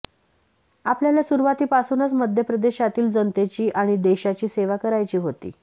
आपल्याला सुरुवातीपासूनच मध्यप्रदेशातील जनतेची आणि देशाची सेवा करायची होती